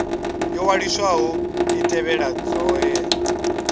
yo waliswaho i tevhedze hoea